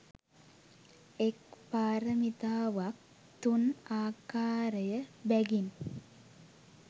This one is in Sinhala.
එක් පාරමිතාවක් තුන් ආකාරය බැගින්